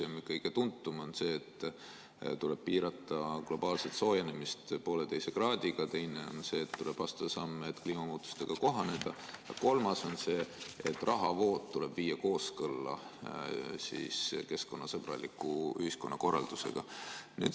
Esimene ja kõige tuntum on see, et tuleb piirata globaalset soojenemist 1,5 kraadiga, teine on see, et tuleb astuda samme, et kliimamuutustega kohaneda, ja kolmas on see, et rahavood tuleb viia kooskõlla keskkonnasõbraliku ühiskonnakorraldusega.